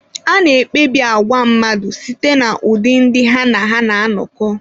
A na-ekpebi àgwà mmadụ site n’ụdị ndị ha na ha na-anọkọ.